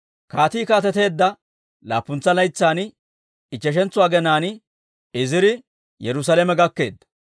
Kaatii kaateteedda laappuntsa laytsan ichcheshantso aginaan Iziri Yerusaalame gakkeedda.